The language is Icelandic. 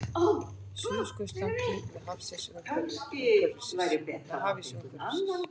Suðurskautslandið með hafís umhverfis.